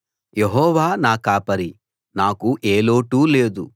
యెహోవా నా కాపరి నాకు ఏ లోటూ లేదు